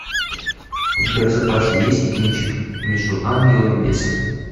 у тебя в запасе есть кинчик между ангелом и бесом